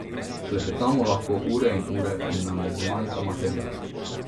Klepetamo lahko ure in ure in nam ne zmanjka materiala.